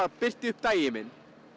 birti upp daginn minn